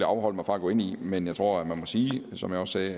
afholde mig fra at gå ind i men jeg tror at man må sige som jeg også